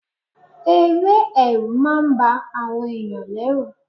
Eré Ẹ̀rù máa ń ba àwọn ẹ̀yàn lẹ́rù.